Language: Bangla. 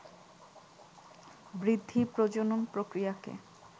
বৃদ্ধি, প্রজনন প্রক্রিয়াকে